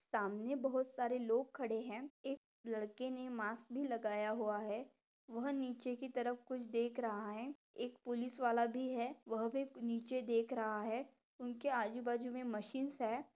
सामने बहुत सारे लोग खड़े है एक लड़के ने मास्क भी लगाया हुआ है वह नीचे की तरफ कुछ देख रहा है एक पुलिसवाला भी है वह भी नीचे देख रहा है उनके आजू बाजू मैं मशीन्स है।